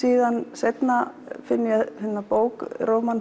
seinna finn ég bók